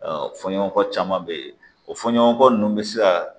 fɔɲɔgɔnkɔ caman be ye o fɔɲɔgɔnkɔ ninnu bɛ se ka